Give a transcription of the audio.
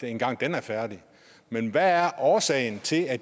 engang er færdigt men hvad er årsagen til at